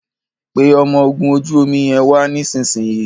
pé ọmọ ògún ojú omí yén wá nísìsiyìí.